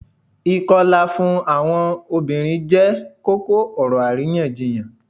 Ikọla fun awọn obirin jẹ koko-ọrọ ariyanjiyan.